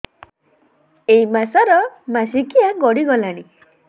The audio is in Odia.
ଏଇ ମାସ ର ମାସିକିଆ ଗଡି ଗଲାଣି